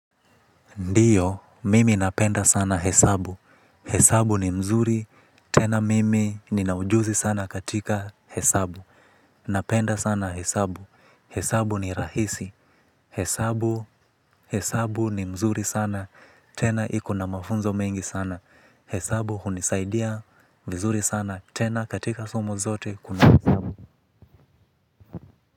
Ndiyo, mimi napenda sana hesabu, hesabu ni mzuri, tena mimi ninaujuzi sana katika hesabu. Napenda sana hesabu, hesabu ni rahisi, hesabu, hesabu ni mzuri sana, tena ikona mafunzo mengi sana. Hesabu hunisaidia, vizuri sana, tena katika somo zote kuna hesabu.